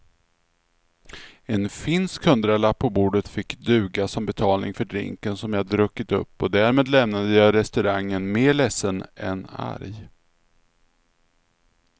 En finsk hundralapp på bordet fick duga som betalning för drinken som jag druckit upp och därmed lämnade jag restaurangen mer ledsen än arg.